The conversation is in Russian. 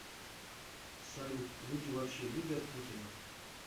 салют люди вообще любят путина